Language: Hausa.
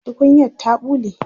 tukunyar ta ɓule